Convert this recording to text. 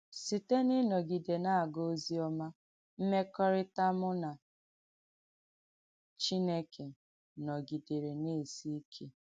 Sìtè n’ịnọ́gidè nà-àgà òzìọ́mà, m̀mèkọ̀rị́tà mụ̀ nà Chínékè nọ́gidèrè nà-èsì ìké.”